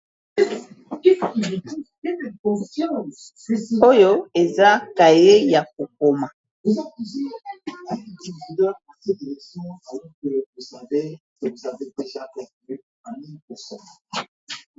Oyo eza kaye ya kokoma .